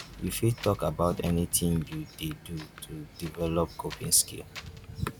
you fit talk about wetin you dey do to develop coping skills?